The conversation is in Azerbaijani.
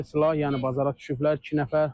Əllərində silah, yəni bazara düşüblər iki nəfər.